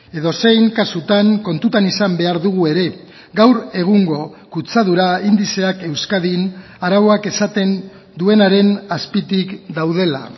edozein kasutan kontutan izan behar dugu ere gaur egungo kutsadura indizeak euskadin arauak esaten duenaren azpitik daudela